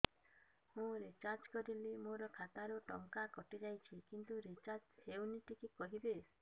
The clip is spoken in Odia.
ମୁ ରିଚାର୍ଜ କରିଲି ମୋର ଖାତା ରୁ ଟଙ୍କା କଟି ଯାଇଛି କିନ୍ତୁ ରିଚାର୍ଜ ହେଇନି ଟିକେ କହିବେ